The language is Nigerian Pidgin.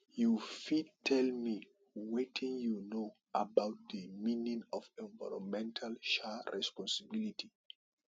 you fit tell me wetin you know about di meaning of environmental um responsibility